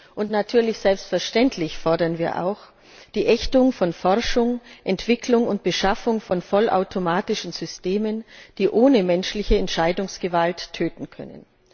Und selbstverständlich fordern wir auch die Ächtung von Forschung, Entwicklung und Beschaffung von vollautomatischen Systemen, die ohne menschliche Entscheidungsgewalt töten können.